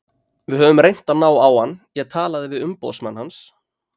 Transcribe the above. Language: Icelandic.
Við höfum reynt að ná á hann, ég talaði við umboðsmann hans.